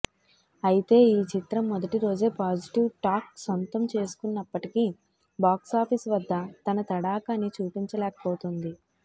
అయితే ఈ చిత్రం మొదటి రోజే పాజిటివ్ టాక్ సొంతం చేసుకున్నప్పటికీ బాక్సఫీస్ వద్ద తన తడాఖా ని చూపించలేకపోతుంది